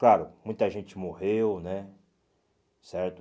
Claro, muita gente morreu né, certo?